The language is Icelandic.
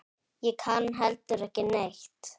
Ég kann heldur ekki neitt.